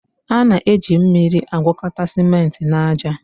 A na-eji mmiri agwakọta simenti na aja.